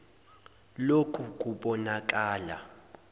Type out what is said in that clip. l oku kubonakala